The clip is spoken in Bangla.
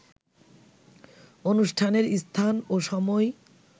অনুষ্ঠানের স্থান ও সময়